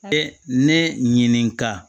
E ne ɲinika